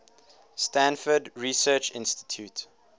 stanford research institute